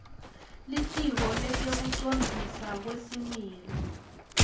litiko letekucondziswa kwesimilo